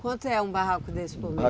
Quanto é um barraco desse por mês?